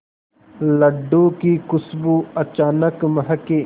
लड्डू की खुशबू अचानक महके